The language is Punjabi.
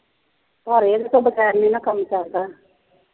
ਪਰ ਇਹਦੇ ਤੋ ਬਗੇਰ ਨੀ ਨਾ ਕੰਮ ਚਲਦਾ